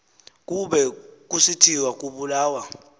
kube kusithiwa ubulawa